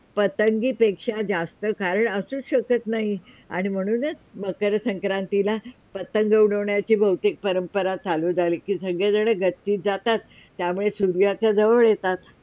पतंगी पेक्षा जास्त कारण असूच शकत नाही आणि म्हणूनच मकर संक्रातीला पतंग उडवण्याची बहूतेक परंपरा चालू झाली कि सगळी जणं गच्चीत जातात आणि त्यामुळे सूर्याच्या जवळ येतात.